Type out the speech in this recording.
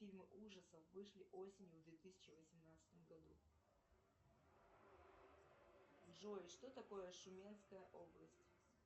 фильмы ужасов вышли осенью в две тысячи восемнадцатом году джой что такое шуменская область